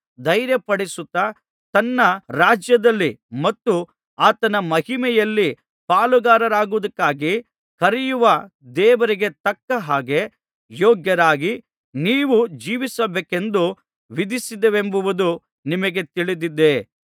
ಧೈರ್ಯಪಡಿಸುತ್ತಾ ತನ್ನ ರಾಜ್ಯದಲ್ಲಿ ಮತ್ತು ಆತನ ಮಹಿಮೆಯಲ್ಲಿ ಪಾಲುಗಾರರಾಗುವುದಕ್ಕಾಗಿ ಕರೆಯುವ ದೇವರಿಗೆ ತಕ್ಕಹಾಗೆ ಯೋಗ್ಯರಾಗಿ ನೀವು ಜೀವಿಸಬೇಕೆಂದು ವಿಧಿಸಿದೆವೆಂಬುದು ನಿಮಗೇ ತಿಳಿದಿದೆ